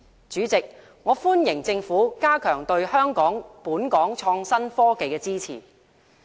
主席，我歡迎政府加強對香港創新科技的支持。